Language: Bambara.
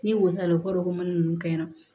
Ni o taara o kɔrɔ ko mana nunnu kɛ